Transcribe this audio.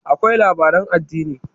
akwai labaran addini